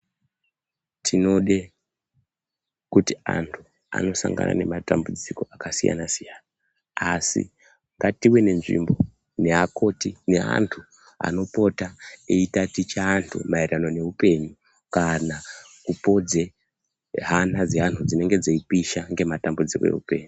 Tinode kuti antu anosangana nematambudziko akasiyana siyana asi ngative nenzvimbo neakoti neantu anopota eitaticha antu maererano neupenyu kana kupodze hana dzeantu dzinenge dzeipisha ngematambudziko eupenyu.